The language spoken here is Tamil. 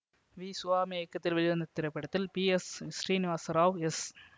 வி சுவாமி இயக்கத்தில் வெளிவந்த இத்திரைப்படத்தில் பி எஸ் ஸ்ரீநிவாசராவ் எஸ்